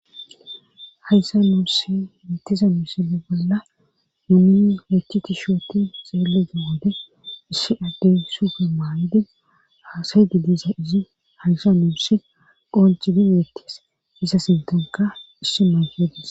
hayssa nuusi bettiza mishaza bolla numiy lechiti shooti xeelega wode issi addey sufe maayidin aasay gidiza izi hayssa nuussi qonci di weettes iza sintonka issi mayfedis